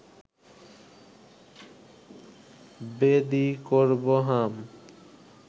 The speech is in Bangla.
বেদী করব হাম